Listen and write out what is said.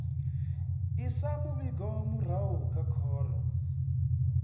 isa muvhigo murahu kha khoro